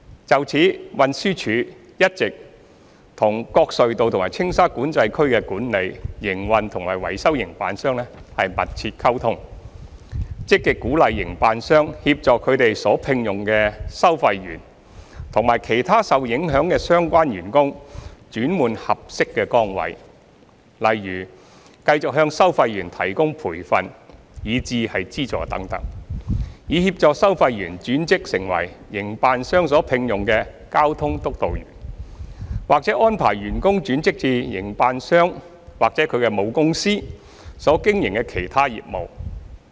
就此，運輸署一直與各隧道及青沙管制區的管理、營運和維修營辦商密切溝通，積極鼓勵營辦商協助他們所聘用的收費員及其他受影響的相關員工轉換合適的崗位，例如繼續向收費員提供培訓以至資助等，以協助收費員轉職成為營辦商所聘用的交通督導員，或安排員工轉職至營辦商或其母公司所經營的其他業務。